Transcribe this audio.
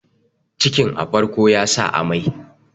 cikin a farko ya sa amai